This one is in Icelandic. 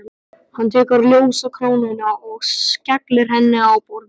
Hann tekur ljósakrónuna og skellir henni á borðið.